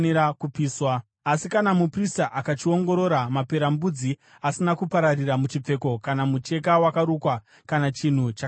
“Asi kana muprista akachiongorora, maperembudzi asina kupararira muchipfeko kana mucheka wakarukwa, kana chinhu chakagadzirwa nedehwe,